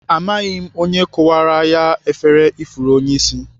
Amaghị m onye kụwara ya efere ifuru onyeisi